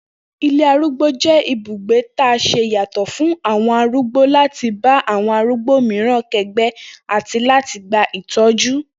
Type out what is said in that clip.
Ilé arúgbó jé̩ ibùgbé ta s̩e yàtò̩ fún àwo̩n arúgbó láti bá awo̩n arúgbó mìíràn ké̩gbé̩ àti láti gba ìtó̩jú